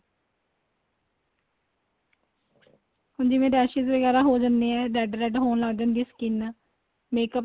ਹੁਣ ਜਿਵੇਂ raises ਵਗੈਰਾ ਹੋ ਜਾਣੇ ਏ red red ਹੋਣ ਲੱਗ ਜਾਂਦੀ ਏ skin makeup